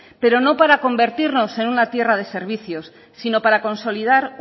pero no para convertirnos en una tierra de servicios sino para consolidad